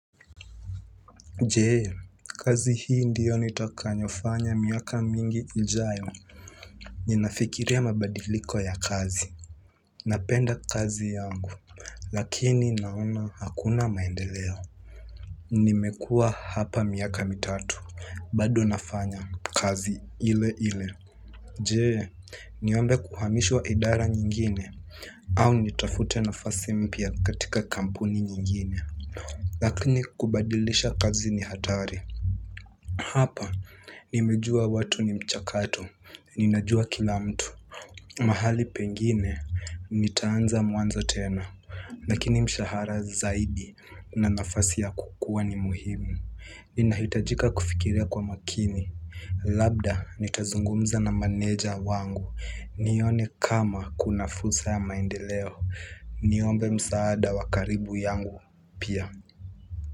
Je kazi hii ndio nitakayofanya miaka mingi ijayo ninafikiria mabadiliko ya kazi. Napenda kazi yangu lakini naona hakuna maendeleo. Nimekua hapa miaka mitatu bado nafanya kazi ile ile. Je niombe kuhamishwa idara nyingine au nitafute nafasi mpya katika kampuni nyingine. Lakini kubadilisha kazi ni hatari. Hapa nimejua watu ni mchakato, ninajua kila mtu. Mahali pengine, nitaanza mwanzo tena lakini mshahara zaidi na nafasi ya kukua ni muhimu inahitajika kufikiria kwa makini. Labda, nitazungumza na maneja wangu. Nione kama kuna fursa ya maendeleo. Niombe msaada wa karibu yangu pia.